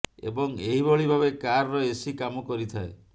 ଏବଂ ଏହିଭଳି ଭାବେ କାର ର ଏସି କାମ କରିଥାଏ